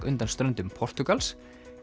undan ströndum Portúgals